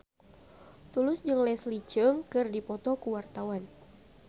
Tulus jeung Leslie Cheung keur dipoto ku wartawan